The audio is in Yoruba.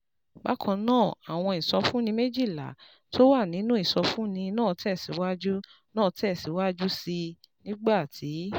Bákan náà, àwọn ìsọfúnni méjìlá tó wà nínú ìsọfúnni náà tẹ̀ síwájú náà tẹ̀ síwájú sí i nígbà tí